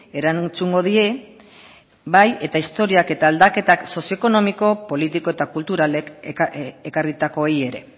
erantzungo die bai eta historiak eta aldaketak sozioekonomiko politiko eta kulturalek ekarritakoei ere